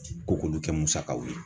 Ko k'olu kɛ musakaw ye